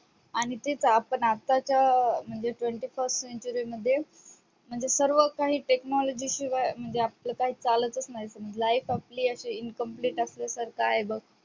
आणि तीच आपण म्हणजे आताच्या twenty first जुलै मध्ये म्हणजे सर्व काही technology शिवाय म्हणजे आपलं काही चालतच नाही life आपली अशी incomplete असल्यासारखी आहे बघ